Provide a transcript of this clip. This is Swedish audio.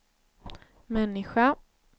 människa